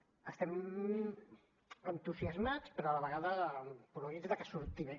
estem entusias mats però a la vegada esporuguits de que surti bé